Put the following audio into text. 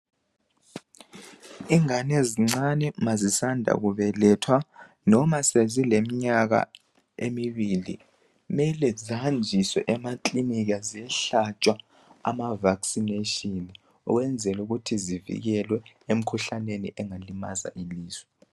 Ingane ezincane ma zisanda kubelethwa noma zileminyaka emibili kumele zihanjiswe ekililinika ziyehlatshwa ama vaccination ukwenzele ukuthi zivikelwe emikhuhlaneni engalimaza imizimba yazo.